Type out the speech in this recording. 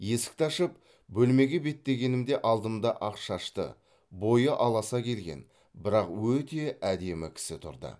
есікті ашып бөлмеге беттегенімде алдымда ақ шашты бойы аласа келген бірақ өте әдемі кісі тұрды